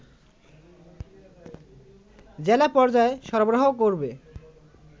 জেলা পর্যায়ে সরবরাহ করবে